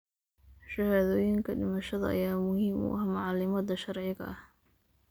Shahaadooyinka dhimashada ayaa muhiim u ah macaamilada sharciga ah.